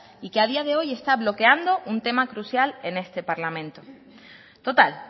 y que a día de hoy está bloqueando un tema crucial en este parlamento total